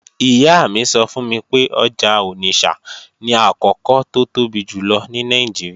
Ìyá mi sọ fún mi pé ọjà Onitsha ni àkọ́kọ́ tó tóbi jùlọ ní Nàìjíríà